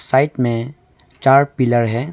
Side में चार pillar है।